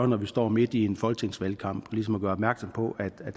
når vi står midt i en folketingsvalgkamp altså ligesom at gøre opmærksom på at der er